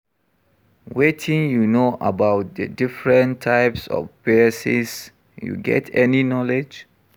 wetin you know about di different types of biases, you get any knowledge?